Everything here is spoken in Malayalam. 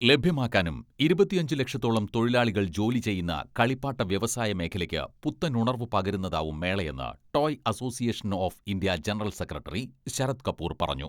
ലഭ്യമാക്കാനും ഇരുപത്തിയഞ്ച് ലക്ഷത്തോളം തൊഴിലാളികൾ ജോലി ചെയ്യുന്ന കളിപ്പാട്ട വ്യവസായ മേഖലക്ക് പുത്തനുണർവ് പകരുന്നതാകും മേളയെന്ന് toy association of India general secretary Sharad Kapoor പറഞ്ഞു.